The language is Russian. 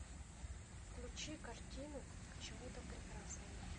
включи картину к чему то прекрасному